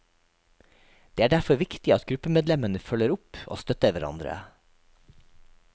Det er derfor viktig at gruppemedlemmene følger opp og støtter hverandre.